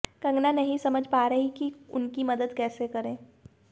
कंगना नहीं समझ पा रहीं कि उनकी मदद कैसे करें